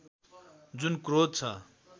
जुन क्रोध छ